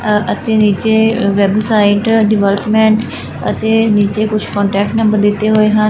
ਆਹ ਅਤੇ ਨੀਚੇ ਵੈੱਬਸਾਈਟ ਡਿਬਾਰਟਮੇਂਟ ਅਤੇ ਨੀਚੇ ਕੁਛ ਕੋਂਟੈਕਟ ਨੰਬਰ ਦਿੱਤੇ ਹੋਏ ਹਨ।